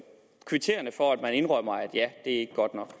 kvitterer for at man indrømmer at nej det er ikke